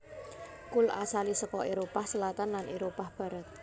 Kul asalé saka Éropah Selatan lan Éropah Barat